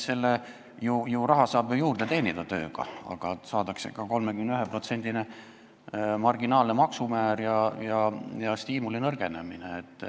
Selle raha saab ju tööga juurde teenida, aga nii saadakse ka 31%-line marginaalne maksumäär ja stiimuli nõrgenemine.